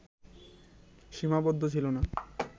সীমাবদ্ধ ছিল না